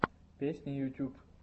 песни ютьюб